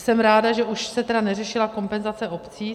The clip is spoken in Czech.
Jsem ráda, že už se tedy neřešila kompenzace obcí.